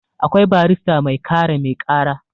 akwai barrista mai kare mai kara